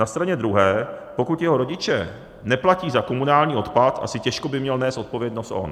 Na straně druhé, pokud jeho rodiče neplatí za komunální odpad, asi těžko by měl nést odpovědnost on.